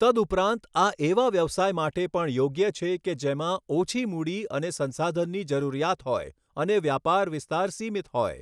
તદ્ઉપરાંત આ એવા વ્યવસાય માટે પણ યોગ્ય છે કે જેમાં ઓછી મૂડી અને સંસાધનની જરૂરીયાત હોય અને વ્યાપાર વિસ્તાર સીમિત હોય.